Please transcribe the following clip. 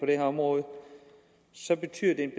det her område så betyder det en